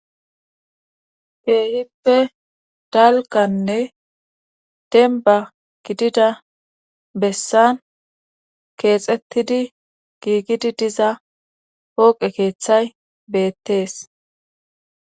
Keehippe dalkanne denba gidida bessan keexettidi giigidi diza hooqe keeththay beettees.